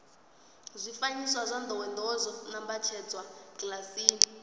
zwifanyiso zwa ndowendowe zwo nambatsedzwa kilasini